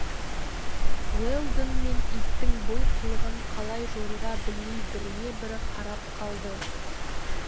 уэлдон мен иттің бұл қылығын қалай жоруға білмей біріне бірі қарап қалды